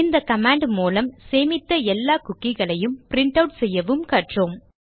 இந்த கமாண்ட் மூலம் சேமித்த எல்லா குக்கிகளையும் பிரின்ட் ஆட் செய்யவும் கற்றோம்